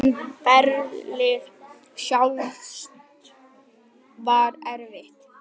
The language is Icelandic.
En ferlið sjálft var erfitt?